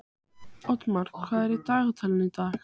Oddmar, hvað er í dagatalinu í dag?